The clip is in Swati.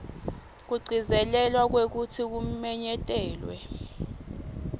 kugcizelela kwekutsi kumenyetelwa